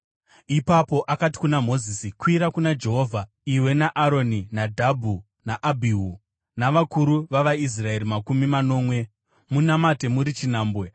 Ipapo akati kuna Mozisi, “Kwira kuna Jehovha, iwe naAroni, Nadhabhi naAbhihu, navakuru vavaIsraeri makumi manomwe. Munamate muri chinhambwe,